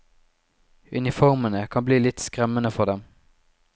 Uniformene kan bli litt skremmende for dem.